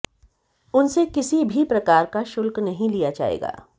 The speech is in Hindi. उनसे किसी भी प्रकार का शुल्क नही लिया जाएगा